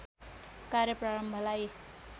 कार्य प्रारम्भलाई